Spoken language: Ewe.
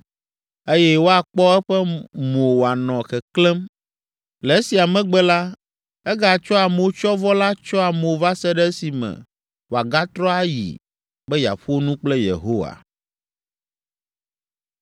eye woakpɔ eƒe mo wòanɔ keklẽm. Le esia megbe la, egatsɔa motsyɔvɔ la tsyɔa mo va se ɖe esime wòagatrɔ ayi be yeaƒo nu kple Yehowa.